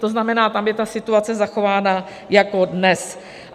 To znamená, tam je ta situace zachována jako dnes.